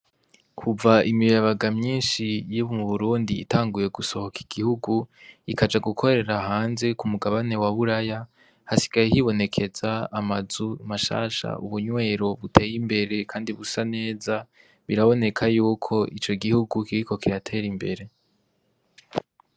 Kuva imiyabaga myinshi yo mu Burundi itanguye gusohoka igihugu ikaja gukorera hanze kumugabane waburaya hasigaye hibonekaza amazu mashasha ubunywero buteye imbere kandi busa neza biraboneka yuko ico gihugu kiriko kiratera imbere.